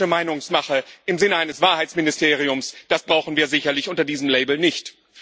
Aber politische Meinungsmache im Sinne eines Wahrheitsministeriums das brauchen wir sicherlich unter diesem Label nicht.